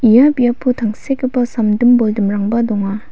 ia biapo tangsekgipa samdim boldimrangba donga.